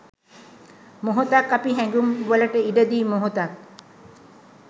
මොහොතක්අපි හැඟුම් වලට ඉඩදී මොහොතක්